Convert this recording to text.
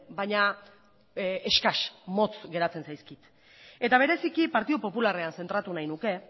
baina eskas motz geratzen zaizkit eta bereziki partidu popularrean zentratu nahi nuke